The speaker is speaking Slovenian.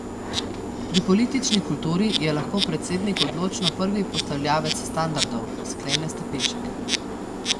Pri politični kulturi je lahko predsednik odločno prvi postavljavec standardov, sklene Stepinšek.